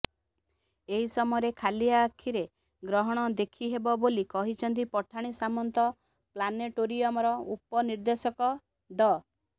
ଏହି ସମୟରେ ଖାଲି ଆଖିରେ ଗ୍ରହଣ ଦେଖିହେବ ବୋଲି କହିଛନ୍ତି ପଠାଣି ସାମନ୍ତ ପ୍ଲାନେଟୋରିୟମର ଉପନିର୍ଦେଶକ ଡ